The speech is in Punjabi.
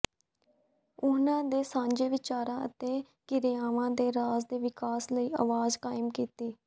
ਉਹਨਾਂ ਦੇ ਸਾਂਝੇ ਵਿਚਾਰਾਂ ਅਤੇ ਕਿਰਿਆਵਾਂ ਨੇ ਰਾਜ ਦੇ ਵਿਕਾਸ ਲਈ ਆਵਾਜ਼ ਕਾਇਮ ਕੀਤੀ